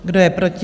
Kdo je proti?